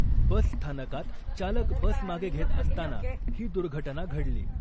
बसस्थानकात चालक बस मागे घेत असताना ही दुर्घटना घडली .